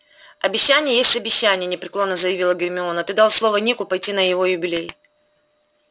обещание есть обещание непреклонно заявила гермиона ты дал слово нику пойти на его юбилей